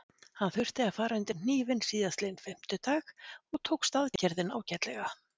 Hann þurfti að fara undir hnífinn síðastliðinn fimmtudag og tókst aðgerðin ágætlega.